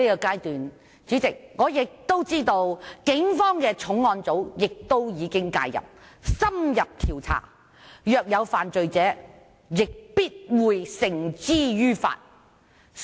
代理主席，我知道警方的重案組在此階段已經介入，進行深入調查，若有人犯罪亦必會將其繩之於法。